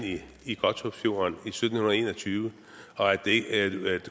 i godthåbsfjorden i sytten en og tyve og at